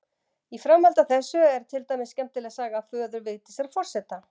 Í framhaldi af þessu er til skemmtileg saga af föður Vigdísar forseta.